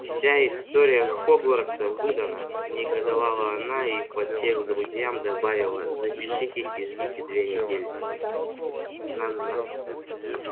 вся история хогвартса выдана негодовала она и подсев к друзьям добавила запишитесь и ждите две недели на нахуй